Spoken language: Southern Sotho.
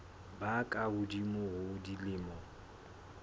ba ka hodimo ho dilemo